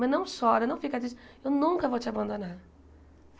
Mãe não chora, não fica triste... Eu nunca vou te abandonar.